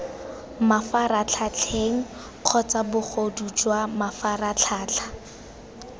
mafaratlhatlheng kgotsa bogodu jwa mafaratlhatlha